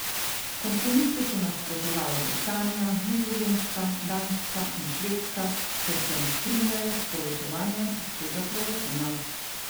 Kompromisu so nasprotovale Britanija, Nizozemska, Danska in Švedska, ker se ne strinjajo z povečevanjem obsega proračuna.